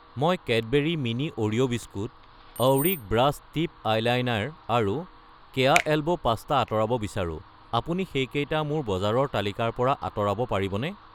মই Cadbury mini Oreo biscuit , অউৰিক brush tip eyeliner আৰু কেয়া এল্বো পাস্তা আঁতৰাব বিচাৰো, আপুনি সেইকেইটা মোৰ বজাৰৰ তালিকাৰ পৰা আঁতৰাব পাৰিবনে?